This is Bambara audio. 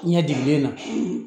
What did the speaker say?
Ɲɛ digiden na